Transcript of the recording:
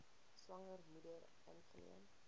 swanger moeder ingeneem